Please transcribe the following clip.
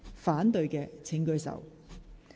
反對的請舉手。